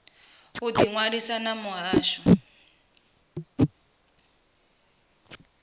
u ḓi ṅwalisa na muhasho